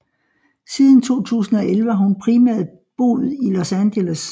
Siden 2011 har hun primært boet i Los Angeles